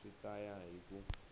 swi ta ya hi ku